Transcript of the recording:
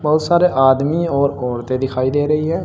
बहुत सारे आदमी और औरतें दिखाई दे रही है।